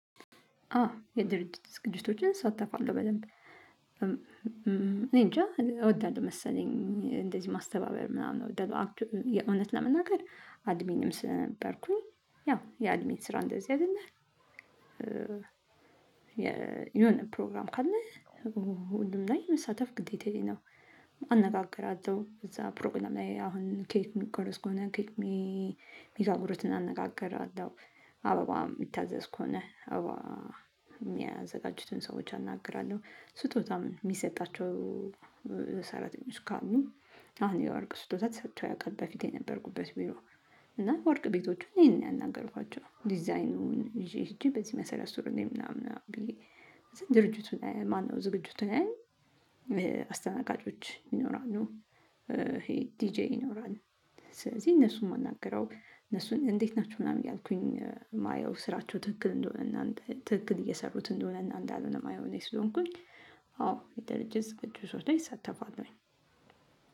አ የድርጅት ዝግጅቶችን እሳተፋለሁ በደንብ እኔንጃ እወዳለሁ መሰለኝ እንደዚህ ማስተባበር ምናምን የእውነት ለመናገር አድሚንም ስለነበርኩኝ ያው የአድሚን ስራ እንደዚህ አይደለም? የሆነ ፕሮግራም ካለ ሁሉም ላይ መሳተፍ ግዴታዬ ነው። አነጋግራችሁ እዛ ፕሮግራም ላይ አሁን ኬት የሚቆረስ ከሆነ ኬክ ሚጋጉሩትን አነጋግራለሁ አበባ የሚታዘዝ ከሆነ አበባ የሚያዘጋጁትን ሰዎች አናግራለሁ። ስጦታም የሚሰጣቸው ሰራተኞች ካሉ አሁን የወርቅ ስጦታ ተሰጥቶ አያውቅም በፊት የነበርኩበት ቢሮ። እና ወርቅ ቤቶቹን እኔ ነኝ ያናገርኳቸው ዲዛይኑን ይዤ ሄጄ በዚህ መሰረት ስሩልኝ ምናምን ብዬ ድርጅቱን ማነው ዝግጁቱ ላይ አስተናጋጆች ይኖራሉ ይሄ ዲጄ ይኖራሉ። ስለዚህ እነሱን የማናገረው እነሱን እንዴት ናቸው ምናምን ያልኩኝ የማየው ስራቸው ትክክል እንደሆነ ትክክል እየሰሩት እንደሆነ እንዳልሆነ የማየው እኔ ስሆንኩኝ አዎ የደርጀት ስቅዱ ዝግጅቶች ላይ እሳተፋለሁኝ።